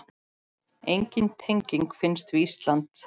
Engin tenging fannst við Ísland.